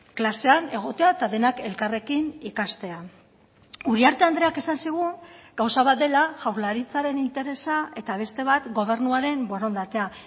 klasean egotea eta denak elkarrekin ikastea uriarte andreak esan zigun gauza bat dela jaurlaritzaren interesa eta beste bat gobernuaren borondatea